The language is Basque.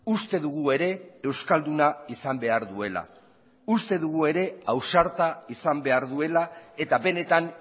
uste dugu ere euskalduna izan behar duela uste dugu ere ausarta izan behar duela eta benetan